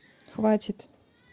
хватит